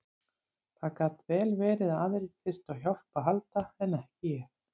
Það gat vel verið að aðrir þyrftu á hjálp að halda en ekki ég.